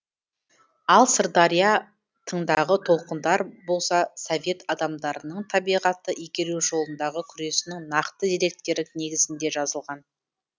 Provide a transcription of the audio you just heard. ал сырдария тыңдағы толқындар болса совет адамдарының табиғатты игеру жолындағы күресінің нақты деректері негізінде жазылған